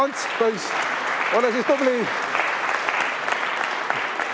Ants-poiss, ole siis tubli!